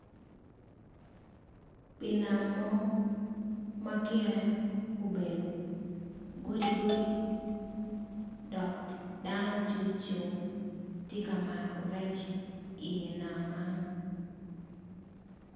I nam mo ma obedo godigodi do dano tye ocung tye ka mako rec man